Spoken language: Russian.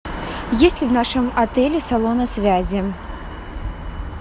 есть ли в нашем отеле салоны связи